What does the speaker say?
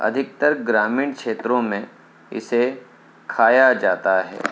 अधिकतर ग्रामीण क्षेत्रों में इसे खाया जाता है।